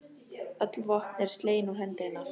Öll vopn eru slegin úr hendi hennar.